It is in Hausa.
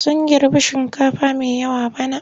Sun girbi shinkafa mai yawa bana.